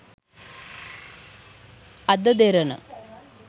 ada derana